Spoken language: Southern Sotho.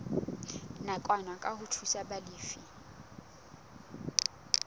nakwana ke ho thusa balefi